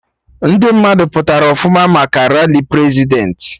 Ndị mmadụ pụtara ọfụma maka rali Prezidentị